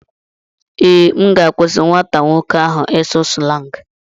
Ee, M ga-akwụsị nwata nwoke ahụ ịsụ slangị.